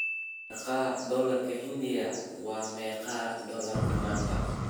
meeqa dollarka Hindiya waa meeqa dollar maanta